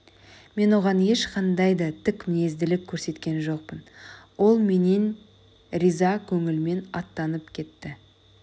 мен оған ешқандай да тік мінезділік көрсеткен жоқпын ол менен риза көңілмен аттанып кетті